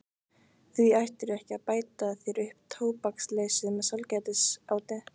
Því ættirðu ekki að bæta þér upp tóbaksleysið með sælgætisáti.